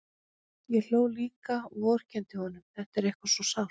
Ég hló líka og vorkenndi honum, þetta var eitthvað svo sárt.